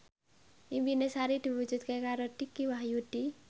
impine Sari diwujudke karo Dicky Wahyudi